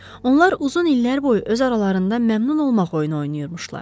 Onlar uzun illər boyu öz aralarında məmnun olmaq oyunu oynayırmışdılar.